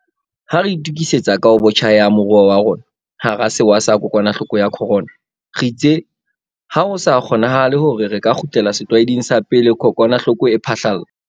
Ha re itukisetsa kahobotjha ya moruo wa rona hara sewa sa kokwanahloko ya corona, re itse ha ho sa kgonanahale hore re ka kgutlela setlwaeding sa pele kokwanahloko e phahlalla.